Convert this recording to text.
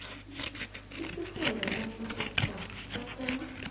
isifunda sombusositjhaba sakhelwa